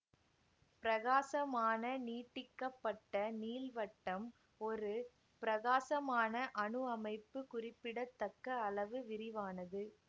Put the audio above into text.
பிரகாசமான நீட்டிக்கப்பட்ட நீள்வட்டம் ஒரு பிரகாசமான அணு அமைப்பு குறிப்பிடத்தக்க அளவு விரிவானது